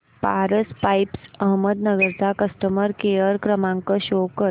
Paras pipes Ahmednagar चा customer care क्रमांक show करा